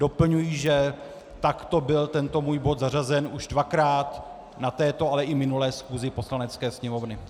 Doplňuji, že takto byl tento můj bod zařazen už dvakrát na této, ale i minulé schůzi Poslanecké sněmovny.